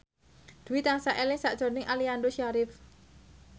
Dwi tansah eling sakjroning Aliando Syarif